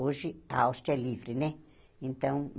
Hoje a Áustria é livre, né? Então